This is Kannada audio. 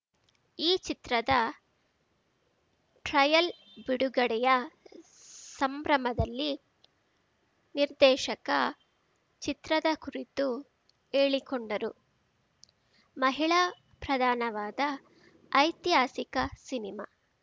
ಈ ಚಿತ್ರದ ಟ್ರೈಯಲ್ ಬಿಡುಗಡೆಯ ಸಂಭ್ರಮದಲ್ಲಿ ನಿರ್ದೇಶಕ ಚಿತ್ರದ ಕುರಿತು ಹೇಳಿಕೊಂಡರು ಮಹಿಳಾ ಪ್ರಧಾನವಾದ ಐತಿಹಾಸಿಕ ಸಿನಿಮಾ